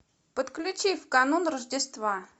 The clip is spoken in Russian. подключи в канун рождества